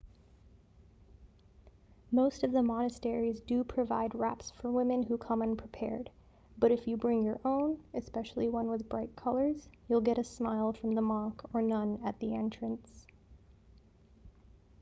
most of the monasteries do provide wraps for women who come unprepared but if you bring your own especially one with bright colors you'll get a smile from the monk or nun at the entrance